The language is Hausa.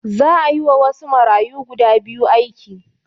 Za a yiwa wasu marayu guda biyu aiki